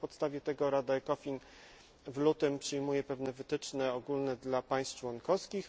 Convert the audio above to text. Na podstawie tego Rada ECOFIN w lutym przyjmuje pewne wytyczne ogólne dla państw członkowskich.